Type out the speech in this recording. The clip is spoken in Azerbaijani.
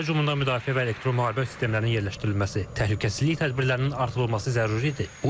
Hava hücumundan müdafiə və elektromüharibə sistemlərinin yerləşdirilməsi, təhlükəsizlik tədbirlərinin artırılması zəruridir.